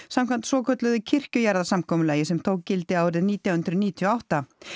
samkvæmt svokölluðu kirkjujarðasamkomulagi sem tók gildi árið nítján hundruð níutíu og átta